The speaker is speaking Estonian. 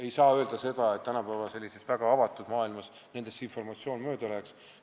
Ei saa öelda, et tänapäeva väga avatud maailmas see informatsioon nendest mööda läheks.